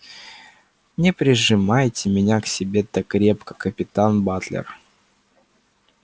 не прижимайте меня к себе так крепко капитан батлер